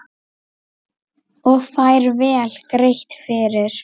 Og fær vel greitt fyrir.